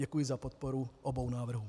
Děkuji za podporu obou návrhů.